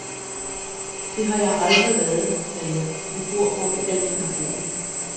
Det har jeg aldrig været, sagde jeg, vi bor hvor vi altid har boet.